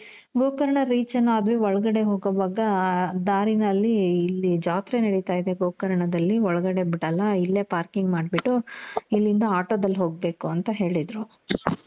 Gokarna reach ಏನೋ ಆದ್ವಿ, ಒಳಗಡೆ ಹೋಗೋವಾಗ ದಾರಿನಲ್ಲಿ ಇಲ್ಲಿ ಜಾತ್ರೆ ನೆಡಿತ ಇದೆ ಗೋಕರ್ಣದಲ್ಲಿ ಒಳಗಡೆ ಬಿಡಲ್ಲ ಇಲ್ಲೇ parking ಮಾಡ್ಬಿಟ್ಟು ,ಇಲ್ಲಿಂದ ಆಟೋದಲ್ಲಿ ಹೋಗ್ಬೇಕು ಅಂತ ಹೇಳಿದ್ರು.